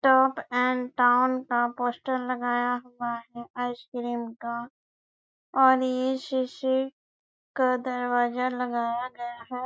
Top and town का poster लगाया हुआ है आइसक्रीम का और ये शीशे का दरवाजा लगाया गया है ।